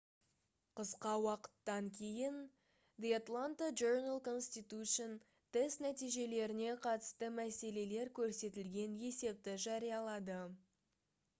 қысқа уақыттан кейін the atlanta journal-constitution тест нәтижелеріне қатысты мәселелер көрсетілген есепті жариялады